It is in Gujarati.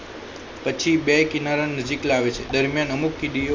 પછી બે કિનારા નજીક લાવે છે દરમિયાન અમુક કીડીઓ